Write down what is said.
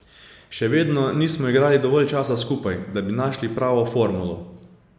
Še vedno nismo igrali dovolj časa skupaj, da bi našli pravo formulo.